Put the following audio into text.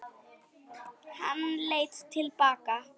Hann leit til baka.